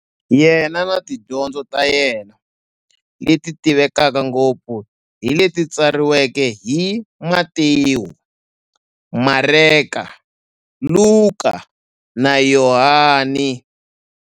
Yena na tidyondzo ta yena, leti tivekaka ngopfu hi leti tsariweke hi-Matewu, Mareka, Luka, na Yohani.